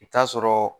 I bi taa sɔrɔ